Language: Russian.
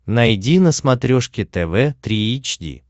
найди на смотрешке тв три эйч ди